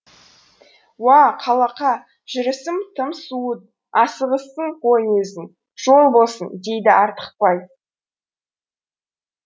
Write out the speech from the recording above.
уа қалақа жүрісің тым суыт асығыссың ғой өзің жол болсын дейді артықбай